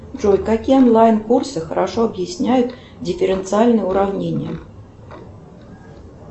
джой какие онлайн курсы хорошо объясняют дифференциальные уравнения